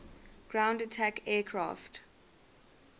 ground attack aircraft